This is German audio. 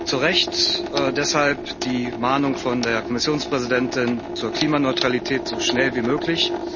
Zu Recht deshalb die Mahnung von der Kommissionspräsidentin hin zur Klimaneutralität so schnell wie möglich!